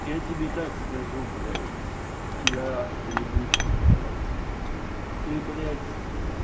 я тебе так скажу блять пидораст ты ебучий блять ты блять